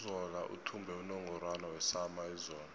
uzola uthumbe unungorwana wesama izolo